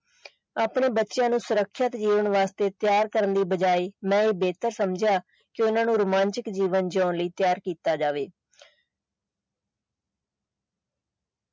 ਆਪਣੇ ਬੱਚਿਆਂ ਨੂੰ ਸੁਰੱਖਿਅਤ ਜੀਵਨ ਵਾਸਤੇ ਤਿਆਰ ਕਰਨ ਦੀ ਬਜਾਏ ਮੈਂ ਇਹ ਬੇਹਤਰ ਸਮਝਿਆ ਕਿ ਓਹਨਾ ਨੂੰ ਰੋਮਾਂਚਕ ਜੀਵਨ ਜਿਉਣ ਲਈ ਤਿਆਰ ਕੀਤਾ ਜਾਵੇ।